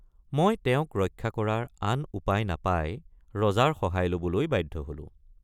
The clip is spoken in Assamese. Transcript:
মই তেওঁক ৰক্ষা কৰাৰ আন উপায় নাপাই ৰজাৰ সহায় লবলৈ বাধ্য হলোঁ।